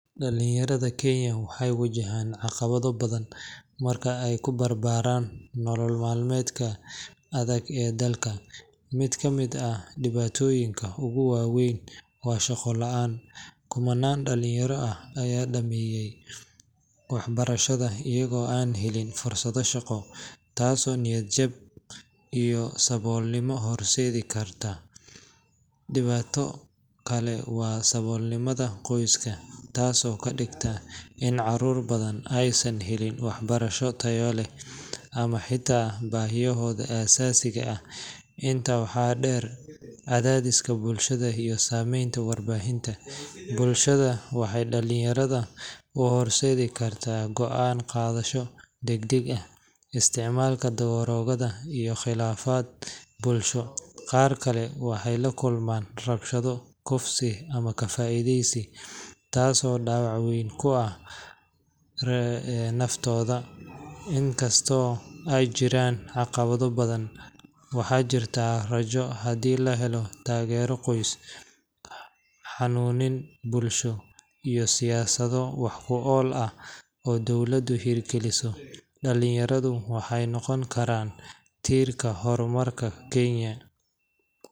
Dhallinyarada Kenya waxay wajahaan caqabado badan marka ay ku barbaaraan nolol maalmeedka adag ee dalka. Mid ka mid ah dhibaatooyinka ugu waa weyn waa shaqo la’aanta kumanaan dhallinyaro ah ayaa dhammeeya waxbarashada iyagoo aan helin fursado shaqo, taasoo niyad jab iyo saboolnimo horseedi karta. Dhibaato kale waa saboolnimada qoyska, taasoo ka dhigta in carruur badan aysan helin waxbarasho tayo leh ama xitaa baahiyahooda aasaasiga ah. Intaa waxaa dheer, cadaadiska bulshada iyo saameynta warbaahinta bulshada waxay dhalinyarada u horseedi karaan go'aan qaadasho degdeg ah, isticmaalka daroogada, iyo khilaafaad bulsho. Qaar kale waxay la kulmaan rabshado, kufsi ama ka faa’iideysi, taasoo dhaawac weyn ku reebta nafsaddooda. Inkastoo ay jiraan caqabado badan, waxaa jirta rajo – haddii la helo taageero qoys, hanuunin bulsho, iyo siyaasado wax ku ool ah oo dowladdu hirgeliso, dhallinyaradu waxay noqon karaan tiirka horumarka Kenya.